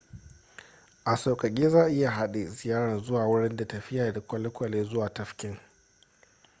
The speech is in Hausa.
a saukake za a iya hade ziyara zuwa wurin da tafiya da kwalwkwale zuwa tafkin